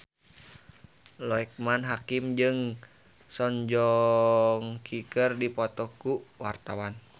Loekman Hakim jeung Song Joong Ki keur dipoto ku wartawan